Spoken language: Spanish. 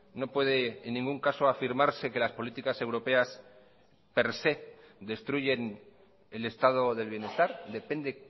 no puede en ningún caso afirmarse que las políticas europeas per se destruyen el estado del bienestar depende